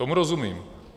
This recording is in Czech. Tomu rozumím.